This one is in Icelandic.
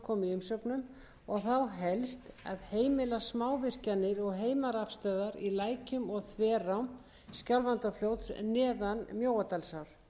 umsögnum og þá helst að heimila smávirkjanir og heimarafstöðvar í lækjum og þverám skjálfandafljóts neðan mjóadalsár með friðlýsingu alls vatnasviðs skjálfandafljóts